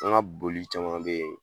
An ka boli caman bɛ yen